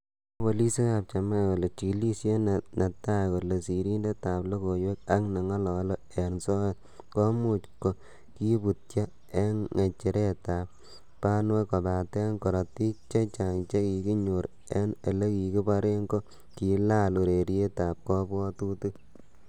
Mwae polisiek ab Jamaica kole, chigilisiet netai kole sirindetab logoiwek ak nengolole en soet komuch ko kibutyo en ngecheretab banwek kobaten korotik che chang che kikinyor en ele kikiboren ko kilaal urerietab kobwotutik.